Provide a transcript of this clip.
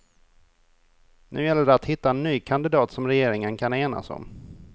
Nu gäller det att hitta en ny kandidat som regeringen kan enas om.